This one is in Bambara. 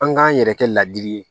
An k'an yɛrɛ kɛ ladili ye